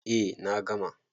Eh na gama.